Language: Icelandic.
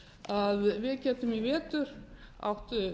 að við getum í vetur átt